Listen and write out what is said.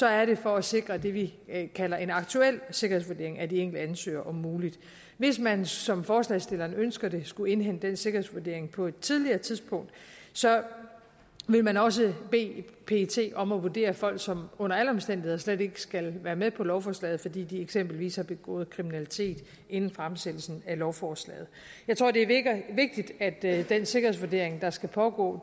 er det for at sikre det vi kalder en aktuel sikkerhedsvurdering af de enkelte ansøgere om muligt hvis man som forslagsstillerne ønsker det skulle indhente den sikkerhedsvurdering på et tidligere tidspunkt ville man også bede pet om at vurdere folk som under alle omstændigheder slet ikke skal være med på lovforslaget fordi de eksempelvis har begået kriminalitet inden fremsættelsen af lovforslaget jeg tror det er vigtigt at at den sikkerhedsvurdering der skal pågå